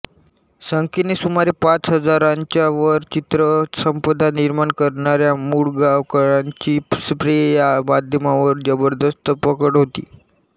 संख्येने सुमारे पाच हजारांच्यावर चित्रसंपदा निर्माण करणाऱ्या मुळगावकरांची स्प्रे या माध्यमावर जबरदस्त पकड होती